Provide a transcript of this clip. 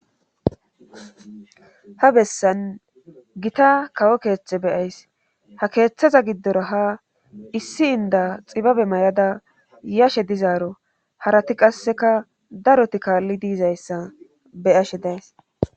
ha bessan gita kawo keete be'ays ha keeththaza giddoro ha issi inda xibabe mayada yashe dizaaro harati qasseka daroti kaallidi yizayssa be'ashe days